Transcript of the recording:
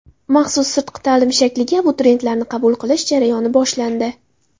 Maxsus sirtqi ta’lim shakliga abituriyentlarni qabul qilish jarayoni boshlandi.